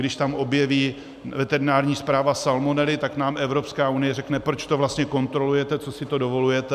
Když tam objeví veterinární správa salmonely, tak nám Evropská unie řekne: proč to vlastně kontrolujete, co si to dovolujete?